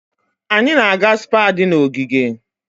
Anyị na-aga Spá di na ogige.